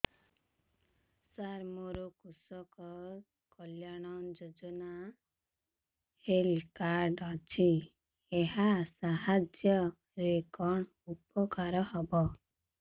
ସାର ମୋର କୃଷକ କଲ୍ୟାଣ ଯୋଜନା ହେଲ୍ଥ କାର୍ଡ ଅଛି ଏହା ସାହାଯ୍ୟ ରେ କଣ ଉପକାର ହବ